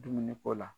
Dumuni ko la